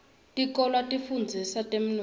tikolwa tifundzisa temnotfo